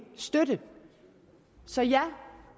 støtte så ja